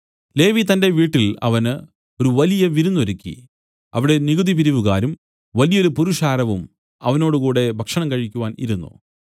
ലേവി തന്റെ വീട്ടിൽ അവന് ഒരു വലിയ വിരുന്നു ഒരുക്കി അവിടെ നികുതി പിരിവുകാരും വലിയൊരു പുരുഷാരവും അവരോടുകൂടെ ഭക്ഷണം കഴിക്കുവാൻ ഇരുന്നു